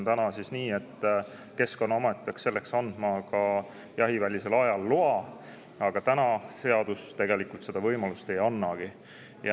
Täna on nii, et Keskkonnaamet peaks selleks andma jahivälisel ajal loa, aga seadus tegelikult seda võimalust ei annagi.